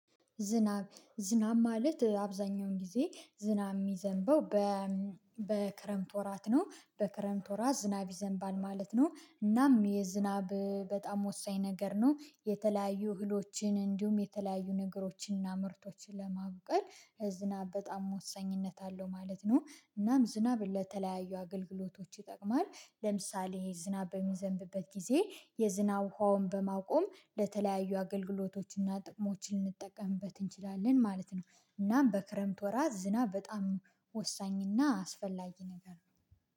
ዝናብ ዝናብ ማለት አብዛኛውን ጊዜ ዝናብ የሚዘንበው በ በክረምት ወራት ነው በክረምት ወራት ዝናብ ይዘንባል ማለት ነው። እናም የዝናብ በጣም ወሳኝ ነገር ነው የተለያዩ እህሎችን እንዲሁም የተለያዩ ነገሮችን እና ምርቶችን ለማብቀል ዝናብ በጣም ወሳኝነት አለው ማለት ነው። እናም ዝናብ ለተለያዩ አገልግሎቶች ይጠቅማል ለምሳሌ ዝናብ በሚዘንብበት ጊዜ የዝናብ ውሃውን በማቆም ለተለያዩ አገልግሎቶችና ጥቅሞች ልንጠቀምበት እንችላለን ማለት ነው። እናም በክረምት ወራት ዝናብ በጣም ወሳኝና አስፈላጊ ነገር ነው